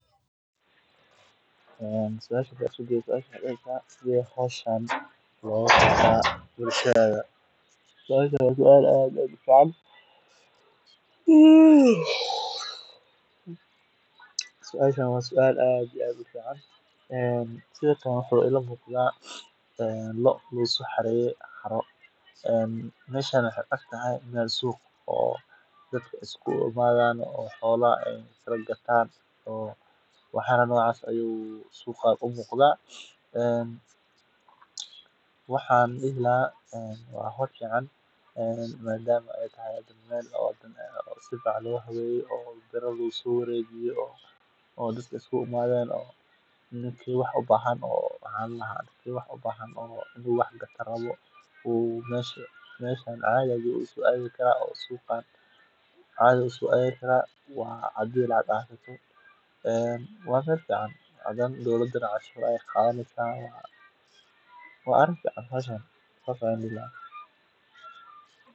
Waa goob si joogto ah loogu kala iibsado xoolaha sida lo’da, ariga, idaha, fardaha, iyo geelaha, iyadoo ay isugu yimaadaan xoolo-dhaqato, ganacsato, iyo dilaaliin. Suuqyadani waxay fursad u siiyaan dadka inay helaan qiime cadaalad ah oo ay ku iibin karaan xoolahooda, sidoo kalena ay xoolo cusub ku iibsadaan ama u dhoofiyaan suuqyo kale. Suuqa xoolaha wuxuu kaalin weyn ku leeyahay kobcinta dhaqaalaha deegaanka, abuurista shaqooyin, iyo sahayda hilibka iyo xoolaha nool ee suuqyada